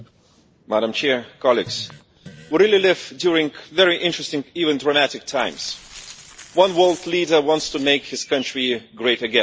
Madam President, colleagues, we are living in very interesting, even dramatic, times. One world leader wants to make his country great again.